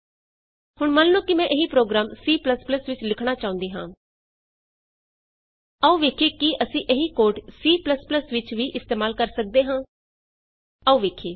ਹੁਣ ਮੰਨ ਲਉ ਕਿ ਮੈਂ ਇਹੀ ਪ੍ਰੋਗਰਾਮ C ਵਿਚ ਲਿਖਣਾ ਚਾਹੁੰਦੀ ਹਾਂ ਆਉ ਵੇਖੀਏ ਕੀ ਅਸੀਂ ਇਹੀ ਕੋਡ C ਵਿਚ ਵੀ ਇਸਤੇਮਾਲ ਕਰ ਸਕਦੇ ਹਾਂ ਆਉ ਵੇਖੀਏ